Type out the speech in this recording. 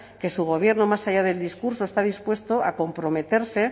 que su gobierno más allá del discurso está dispuesto a comprometerse